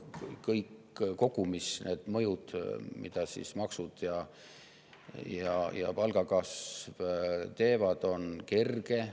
Aga koos, kogumis kõik need mõjud, mida maksud ja palgakasv, on kerged.